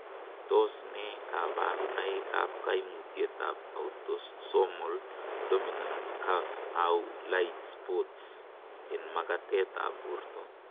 Tos nee koburonoikab koimutietab Autosomal dominant caf au lait spots en makatetab borto?